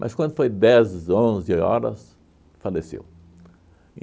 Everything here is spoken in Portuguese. Mas quando foi dez, onze horas, faleceu.